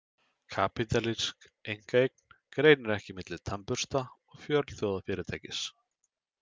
Kapítalísk einkaeign greinir ekki milli tannbursta og fjölþjóðafyrirtækis.